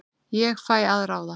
Ég fæ að ráða.